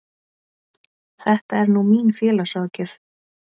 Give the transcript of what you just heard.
Þetta er nú mín félagsráðgjöf.